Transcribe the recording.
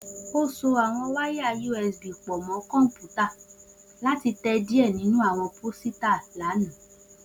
O so awọn wáyàUSB pọ mọ kọnputa lati tẹ diẹ ninu awọn posita lana